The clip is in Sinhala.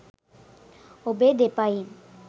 ඔබේ දෙපයින්